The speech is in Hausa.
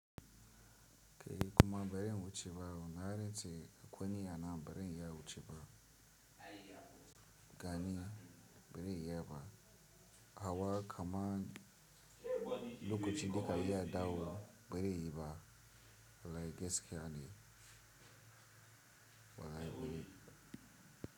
Ke kuma bari wucewa, naga nce kwanye ana bari iya wucewa gani bari iya ba. Hawa kaman lokacin da ka yi adau bari yi ba, wallahi gaskiya, wallahi bareyi ba.